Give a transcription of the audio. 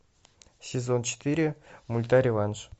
сезон четыре мульта реванш